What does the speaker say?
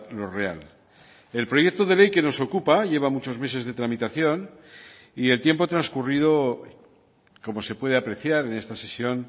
lo real el proyecto de ley que nos ocupa lleva muchos meses de tramitación y el tiempo transcurrido como se puede apreciar en esta sesión